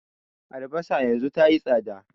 Albasa yanzu tayi tsada